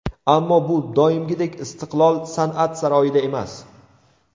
Ammo bu doimgidek ‘Istiqlol’ san’at saroyida emas.